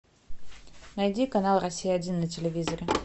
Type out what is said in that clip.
найди канал россия один на телевизоре